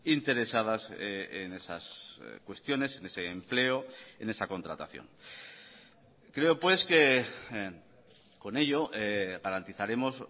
interesadas en esas cuestiones en ese empleo en esa contratación creo pues que con ello garantizaremos